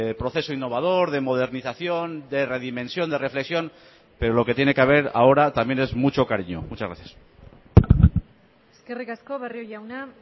proceso innovador de modernización de redimensión de reflexión pero lo que tiene que haber ahora también es mucho cariño muchas gracias eskerrik asko barrio jauna